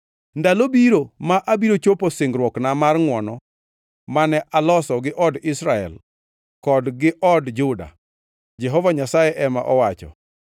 “ ‘Ndalo biro ma abiro chopo singruokna mar ngʼwono mane aloso gi od Israel kod gi od Juda,’ Jehova Nyasaye ema owacho.